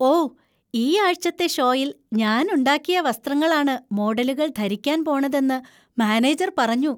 ഓ, ഈ ആഴ്ചത്തെ ഷോയിൽ ഞാൻ ഉണ്ടാക്കിയ വസ്ത്രങ്ങളാണ് മോഡലുകൾ ധരിക്കാൻ പോണതെന്നു മാനേജർ പറഞ്ഞു.